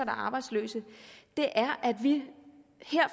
er arbejdsløse er at vi